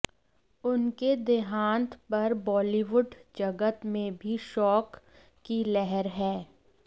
उनके देहांत पर बॉलीवुड जगत में भी शोक की लहर है